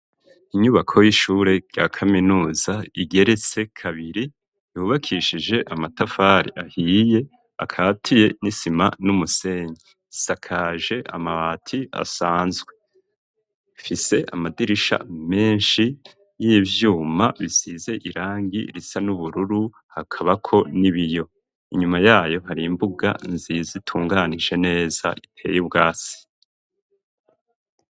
Inyubako y'ishure rya kaminuza igeretse kabiri yubakishije amatafari ahiye akatiye n'isima n’umusenyi ,isakaje amabati asanzwe ,ifise amadirisha menshi y'ivyuma bisize irangi risa n'ubururu hakabako n'ibiyo, inyuma yayo har’imbuga nziza itunganije neza iteye ubwatsi.